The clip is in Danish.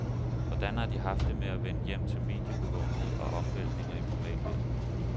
Hvordan har de haft det med at vende hjem til mediebevågenhed og omvæltninger i privatlivet?